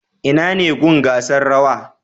Inane gun gasar rawa